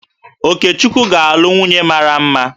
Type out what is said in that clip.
Okechukwu ga-alụ nwunye mara mma